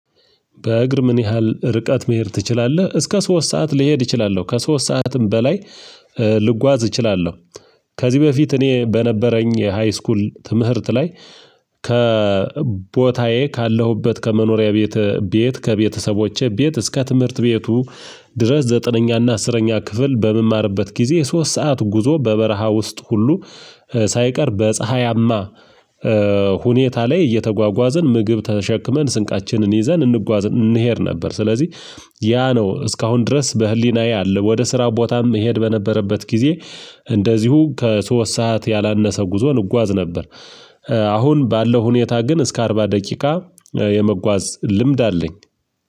በእግር ምን? ያህል ርቀት መሄድ ትችላለህ እስከ ሶስት ሰዓት ልሄድ እችላለሁ ከሶስት ሰዓትም በላይ ልጓዝ እችላለሁ። ከዚህ በፊት እኔ በነበረኝ ሃይስኩል ትምህርት ላይ ከቦታዬ ካለሁበት ከመኖሪያ ቤት ከቤተሰቦቼ ቤት እስከ ትምህርት ቤቱ ድረስ ዘጠነኛ እና አስረኛ ክፍል በምማርበት ጊዜ ሶስት ሰዓት ጉዞ በበረሃ ውስጥ ሁሉ ሳይቀር በፀሀያማ ሁኔታ ላይ እየተጓጓዘን ምግብ ተሸክመን ስንቃችንን ይዘን እንጓዝ እንሄድ ነበር። ስለዚህ ያ ነው እስከ አሁን ድረስ በህሊናዬ አለ ወደ ስራ ቦታም እሄድ በነበረበት ጊዜ እንደዚሁ ከሶስት ሰዓት ያላነሰ ጉዞ እንጓዝ ነበር። አሁን ባለው ሁኔታ ግን እስከ አርባ ደቂቃ የመጓዝ ልምድ አለኝ